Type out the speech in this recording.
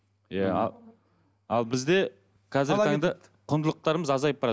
иә ал бізде қазіргі таңда құндылықтарымыз азайып барады